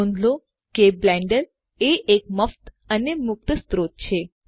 નોંધ લો કે બ્લેન્ડર એ એક મફત અને મુક્ત સ્ત્રોત છે